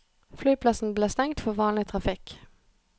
Flyplassen ble stengt for vanlig trafikk.